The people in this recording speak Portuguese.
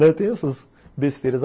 Tem essas besteiras.